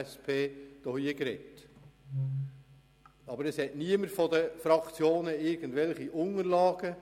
Es verfügt jedoch niemand seitens der Fraktionen über Unterlagen.